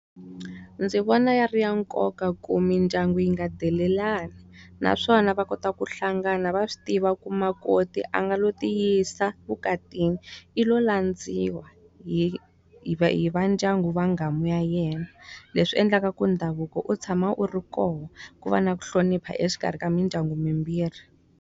Ndzi vona ya ri ya nkoka ku mindyangu yi nga delelani naswona va kota ku hlangana va swi tiva ku makoti a nga lo ti yisa evukatini, i lo landziwa hi hi hi vandyangu wa nghamu ya yena. Leswi endlaku ndhavuko u tshama u ri kona, ku va na ku hlonipha exikarhi ka mindyangu yimbirhi.